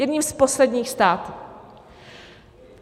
Jedním z posledních států.